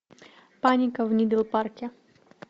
паника в нидл парке